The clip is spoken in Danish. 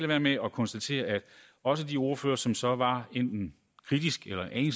være med at konstatere at også de ordførere som så var enten kritiske eller en